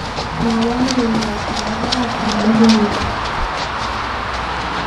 Mwowo logoiwot nebo barak eng logoiwek